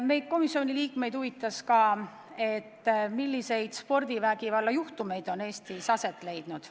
Meid, komisjoniliikmeid, huvitas ka, milliseid spordivägivalla juhtumeid on Eestis olnud.